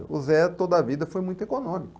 O Zé toda a vida foi muito econômico.